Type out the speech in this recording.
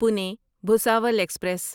Pune Bhusawal express